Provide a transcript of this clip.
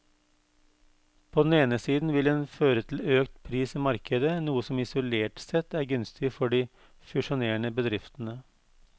På den ene siden vil den føre til økt pris i markedet, noe som isolert sett er gunstig for de fusjonerende bedriftene.